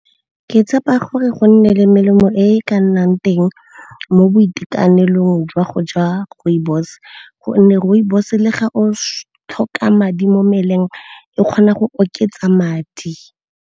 Ke tshepa gore go nne le melemo e ka nnang teng mo boitekanelong jwa go ja rooibos, gonne rooibos le ga o tlhoka madi mo mmeleng e kgona go oketsa madi.